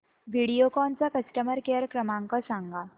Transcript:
व्हिडिओकॉन चा customer care क्रमांक सांगा